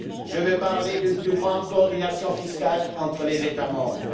Je veux parler d'une plus grande coordination fiscale entre les États membres.